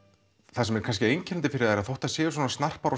það sem er kannski einkennandi fyrir þær er að þótt þær séu svona snarpar og